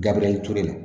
Gabiriyɛri ture la